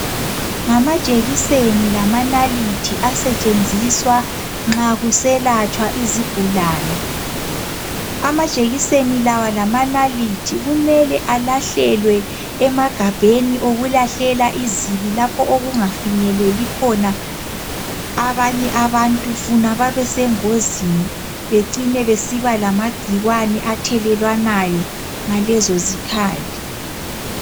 Ngamajekiseni lamanalithi asetshenziswa nxa kuselatshwa izigulane . Amajekiseni lawa lamanalithi kumele alahlelwe emagabheni okulahlela izibi lapho okungafinyeleli khona abanye abantu funa babesengozini becine besiba lamagcikwane athelelwanayo ngalezo zikhali.